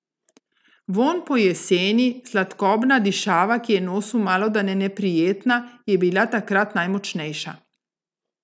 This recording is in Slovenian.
Vonj po jeseni, sladkobna dišava, ki je nosu malodane neprijetna, je bila takrat najmočnejša.